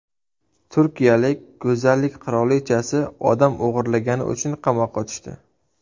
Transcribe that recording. Turkiyalik go‘zallik qirolichasi odam o‘g‘irlagani uchun qamoqqa tushdi.